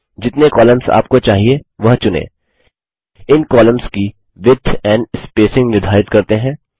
जितने कॉलम्स आपको चाहिए वह चुनें इन कॉलम्स की विड्थ एंड स्पेसिंग निर्धारित करते हैं